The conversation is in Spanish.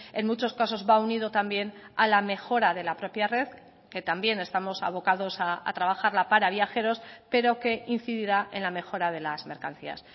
en muchos casos va unido también a la mejora de la propia red que también estamos abocados a trabajarla para viajeros pero que incidirá en la mejora de las mercancías